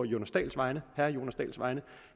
jonas dahls vegne at